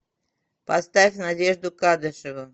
поставь надежду кадышеву